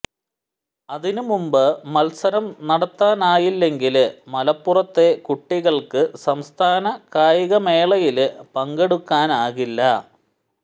അതിന് മുമ്പ് മത്സരം നടത്താനായില്ലെങ്കില് മലപ്പുറത്തെ കുട്ടികള്ക്ക് സംസ്ഥാന കായികമേളയില് പങ്കെടുക്കാനാകില്ല